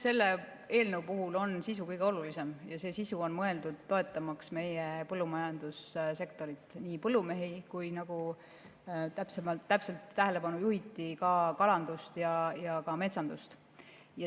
Selle eelnõu puhul on sisu kõige olulisem ja sisu on mõeldud toetamaks meie põllumajandussektorit, nii põllumehi kui ka – nagu täpselt tähelepanu juhiti – kalandust ja metsandust.